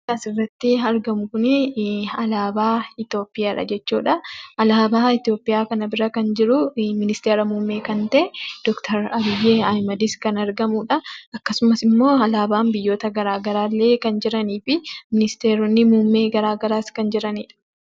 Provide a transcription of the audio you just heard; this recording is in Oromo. Kan asirratti argamu kun, alaabaa Itoophiyaadha jechuudha. Alaabaa Itoophiyaa kana bira kan jiru, ministeera muummee kan tae, Doctor Abiy Ahimadis, kan argamuudha. Akkasumas alaabaan biyyoota garaagaraa kan jiranii fi ministeeronni muummee garaagaraas kan jiraniidha.